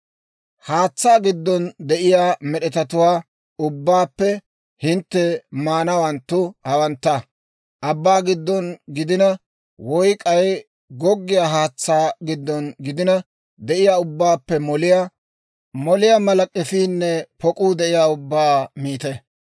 « ‹Haatsaa giddon de'iyaa med'etatuwaa ubbaappe hintte maanawanttu hawantta. Abbaa giddon gidina woy k'ay goggiyaa haatsaa giddon gidina de'iyaa ubbaappe moliyaa mala k'efiinne pok'uu de'iyaa ubbaa miite.